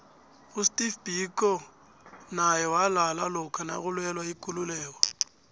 usteve biko naye walala lokha nakulwela ikuluieko